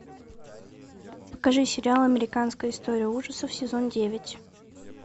покажи сериал американская история ужасов сезон девять